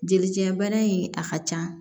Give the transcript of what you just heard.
Jelijinɛ bana in a ka ca